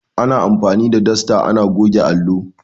Ana anfani da dasta ana goge allo.